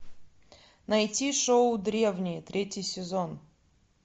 найти шоу древние третий сезон